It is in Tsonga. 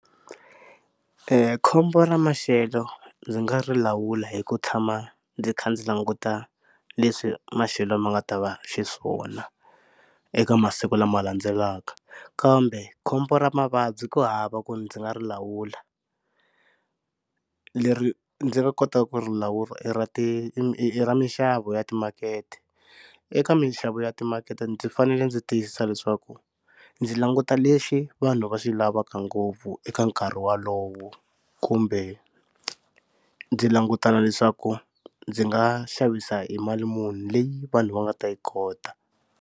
Khombo ra maxelo ndzi nga ri lawula hi ku tshama ndzi kha ndzi languta leswi maxelo ma nga ta va xiswona eka masiku lama landzelaka. Kambe khombo ra mavabyi ku hava ku ndzi nga ri lawula. Leri ndzi nga kotaka ku ri lawula i ra ti ra mixavo ya timakete, eka mixavo ya timakete ndzi fanele ndzi tiyisisa leswaku ndzi languta lexi vanhu va xi lavaka ngopfu eka nkarhi wolowo kumbe ndzi languta na leswaku ndzi nga xavisa hi mali munhu leyi vanhu va nga ta yi kota.